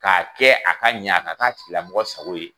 K'a kɛ a ka ɲɛ a ka'a tigiilamɔgɔ sago ye.